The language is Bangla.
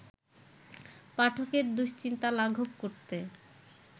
পাঠকের দুশ্চিন্তা লাঘব করতে